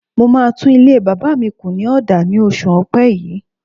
Mo máa tún ilé bàbá mi kù ní ọ̀dà ní oṣù ọpẹ́ yìí.